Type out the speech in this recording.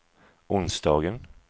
onsdagen